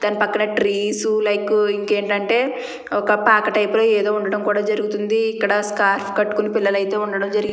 తన పక్కన trees like ఇంకా ఏంటంటే ఒక పాత టైపులో ఏదో ఉండడం జరుగుతుంది ఇక్కడ స్కార్ కట్టుకొని పిల్లలైతే ఉండడం జరిగింది.